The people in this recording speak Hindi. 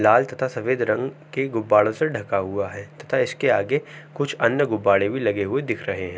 लाल तथा सफेद रंग के गुब्बारों ढ़का हुआ है तथा इसके आगे कुछ अन्य गुब्बारें भी लगे दिख रहे हैं।